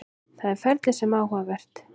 Það er ferlið sem er áhugavert.